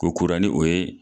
Ko kura n'i o ye